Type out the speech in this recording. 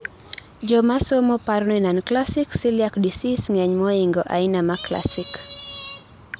jomosomo paroni non classic celiac disease ng'eny mohingo aina ma classic